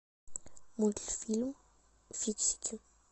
мультфильм фиксики